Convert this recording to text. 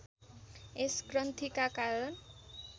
यस ग्रन्थीका कारण